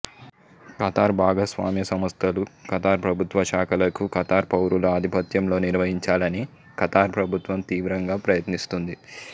Qatar భాగస్వామ్య సంస్థలు Qatar ప్రభుత్వశాఖలకు ఖతార్ పౌరుల ఆధిపత్యంలో నిర్వహించాలని ఖతార్ ప్రభుత్వం తీవ్రంగా ప్రయత్నిస్తుంది